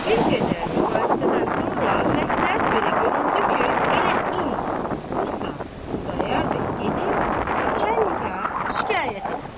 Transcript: Bir qədər mübahisədən sonra məsləhət belə görüldü ki, elə indi bu saat Xudayar bəy gedib nəçənliyə şikayət eləsin.